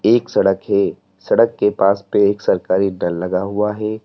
एक सड़क है सड़क के पास पे एक सरकारी लगा हुआ है।